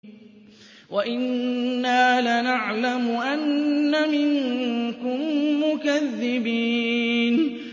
وَإِنَّا لَنَعْلَمُ أَنَّ مِنكُم مُّكَذِّبِينَ